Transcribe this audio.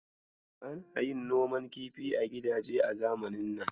Ana yin noman kifi a gidaje a zamanin nan.